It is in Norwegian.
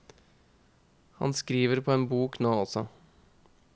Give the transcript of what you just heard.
Han skriver på en bok nå også.